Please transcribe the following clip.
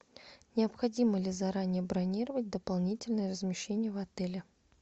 необходимо ли заранее бронировать дополнительное размещение в отеле